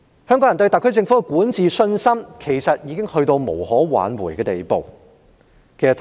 香港人對特區政府的管治信心，已經到了無可挽回的地步。